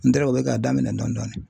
u bɛ k'a daminɛ dɔɔni dɔɔni.